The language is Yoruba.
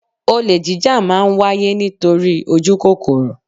Olè jíjà má ń wáyé nítorí ojukokoro